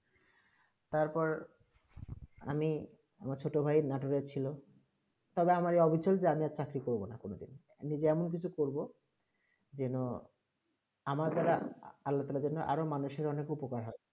তার পর আমি আমার ছোট ভাই নাটুরা ছিল তা আমার এই ৰাচল আমি আর চাকরি করবো না কোনো দিন যেমন কিছু করবো যেন আমার আলতো আরও মানুষের অনেক উপকার হয়ে